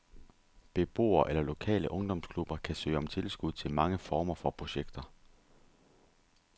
Beboere eller lokale ungdomsklubber kan søge om tilskud til mange former for projekter.